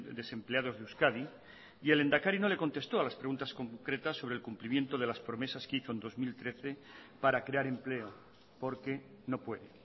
desempleados de euskadi y el lehendakari no le contestó a las preguntas concretas sobre el cumplimiento de las promesas que hizo en dos mil trece para crear empleo porque no puede